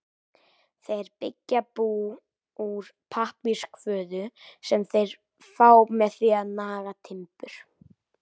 Þeir byggja bú úr pappírskvoðu sem þeir fá með því að naga timbur.